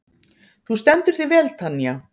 Þú stendur þig vel, Tanja!